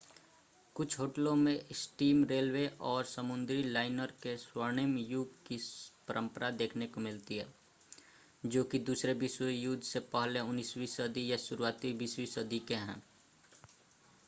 कुछ होटलों में स्टीम रेलवे और समुद्री लाइनर के स्वर्णिम युग की परंपरा देखने को मिलती है जो कि दूसरे विश्व युद्ध से पहले 19वीं सदी या शुरुआती 20वीं सदी के हैं